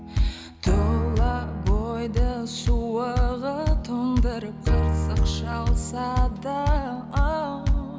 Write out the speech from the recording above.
тұла бойды суығы тоңдырып қырсық шалса да оу